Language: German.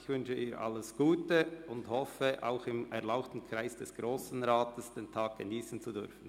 Ich wünsche ihr alles Gute und hoffe, dass sie diesen Tag auch im erlauchten Kreis des Grossen Rats geniessen kann.